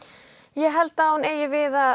ég held að hún eigi við að